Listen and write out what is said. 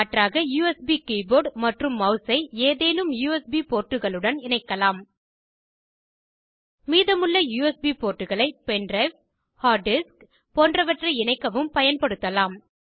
மாற்றாக USB keyboard மற்றும் மெளஸை ஏதேனும் யுஎஸ்பி போர்ட்டுகளுடனும் இணைக்கலாம் மீதமுள்ள யுஎஸ்பி போர்ட்டுகளை பென் ட்ரைவ் ஹார்ட் டிஸ்க் போன்றவற்றை இணைக்கவும் பயன்படுத்தலாம்